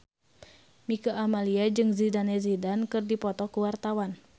Mieke Wijaya jeung Zidane Zidane keur dipoto ku wartawan